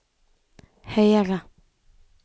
høyere